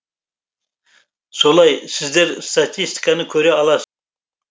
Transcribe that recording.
солай сіздер статистиканы көре алас